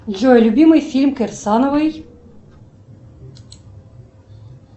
джой любимый фильм кирсановой